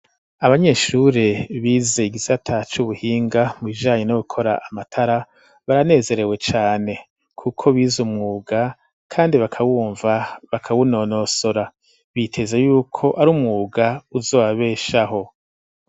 Abanyeshure bize igisata c'ubuhinga mu bijanye no gukora amatara baranezerewe cane kuko bize umwuga kandi bakawumva bakawunonosora ,biteza yuko ari umwuga uzobabeshaho.